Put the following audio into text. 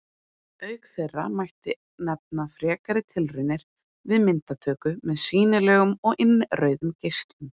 Auk þeirra mætti nefna frekari tilraunir við myndatöku með sýnilegum og innrauðum geislum.